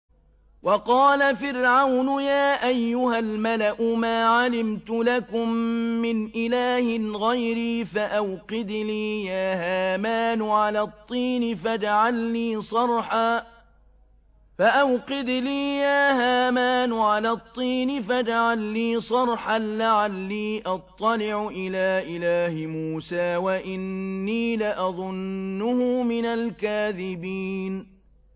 وَقَالَ فِرْعَوْنُ يَا أَيُّهَا الْمَلَأُ مَا عَلِمْتُ لَكُم مِّنْ إِلَٰهٍ غَيْرِي فَأَوْقِدْ لِي يَا هَامَانُ عَلَى الطِّينِ فَاجْعَل لِّي صَرْحًا لَّعَلِّي أَطَّلِعُ إِلَىٰ إِلَٰهِ مُوسَىٰ وَإِنِّي لَأَظُنُّهُ مِنَ الْكَاذِبِينَ